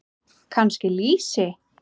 Kannski lýsi?